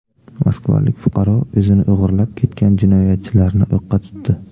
Moskvalik fuqaro o‘zini o‘g‘irlab ketgan jinoyatchilarni o‘qqa tutdi.